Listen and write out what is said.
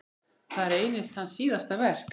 Það reynist hans síðasta verk.